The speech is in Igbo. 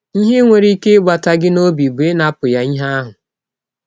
Ihe nwere ike ịgbata gị n’ọbi bụ ịnapụ ya ihe ahụ.